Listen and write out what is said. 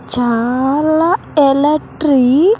చాలా ఎలట్రీ.